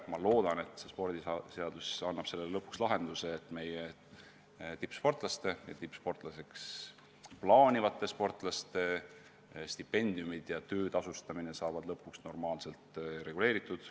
Ma loodan, et muudetud spordiseadus annab lõpuks oodatud lahenduse, et meie tippsportlaste ja tippsportlaseks saada soovivate noorte stipendiumid ja töö tasustamine saavad lõpuks normaalselt reguleeritud.